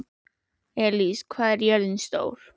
Elis, hvað er jörðin stór?